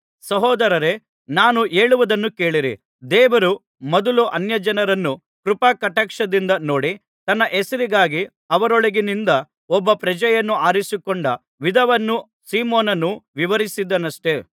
ಸಹೋದರರೇ ನಾನು ಹೇಳುವುದನ್ನು ಕೇಳಿರಿ ದೇವರು ಮೊದಲು ಅನ್ಯಜನರನ್ನು ಕೃಪಾಕಟಾಕ್ಷದಿಂದ ನೋಡಿ ತನ್ನ ಹೆಸರಿಗಾಗಿ ಅವರೊಳಗಿನಿಂದ ಒಬ್ಬ ಪ್ರಜೆಯನ್ನು ಆರಿಸಿಕೊಂಡ ವಿಧವನ್ನು ಸಿಮೆಯೋನನು ವಿವರಿಸಿದನಷ್ಟೆ